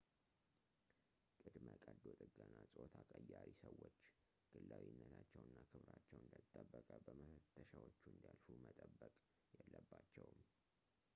ቅድመ-ቀዶ ጥገና ጾታ ቀያሪ ሰዎች ግላዊነታቸው እና ክብራቸው እንደተጠበቀ በመፈተሻዎቹ እንዲያልፉ መጠበቅ የለባቸውም